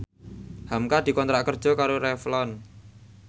hamka dikontrak kerja karo Revlon